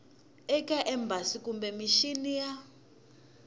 eka embasi kumbe mixini ya